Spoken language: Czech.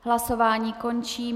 Hlasování končím.